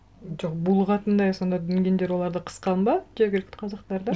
жоқ булығатындай сонда дүнгендер оларды қысқан ба жергілікті қазақтарды